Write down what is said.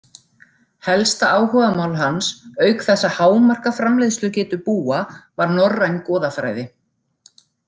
Helsta áhugamál hans auk þess að hámarka framleiðslugetu búa var norræn goðafræði.